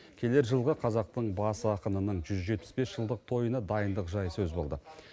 келер жылғы қазақтың бас ақынының жүз жетпіс бес жылдық тойына дайындық жайы сөз болды